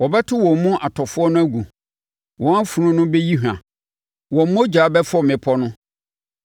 Wɔbɛto wɔn mu atɔfoɔ no agu, wɔn afunu no bɛyi hwa; wɔn mogya bɛfɔ mmepɔ no.